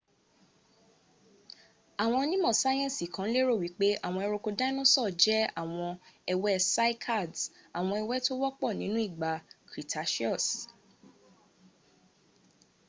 àwọn onímò sayensi kan lérò wípé àwọn ẹronko dáínósọ̀ jẹ àwọn ẹwẹ́ cycads àwọn ẹwẹ́ tó wọ́pọ̀ nínú ìgbà cretaceous